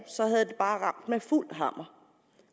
år havde det bare ramt med fuld hammer